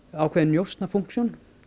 ákveðin njósna fúnksjón